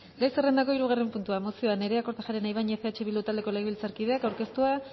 gai zerrendako hirugarren puntua mozioa nerea kortajarena ibañez eh bildu taldeko legebiltzarkideak aurkeztua